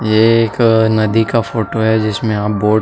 ये एक नदी का फोटो है जिसमे आप बोट --